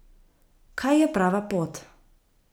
Kaj je prava pot?